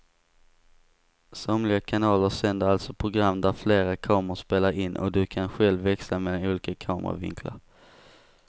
Somliga kanaler sänder alltså program där flera kameror spelar in och du kan själv växla mellan olika kameravinklar.